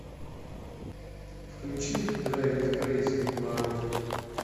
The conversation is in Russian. включи драйв ми крэйзи марув